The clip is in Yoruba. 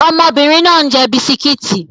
Ọmọbìnrin náà ń jẹ bisikíìtì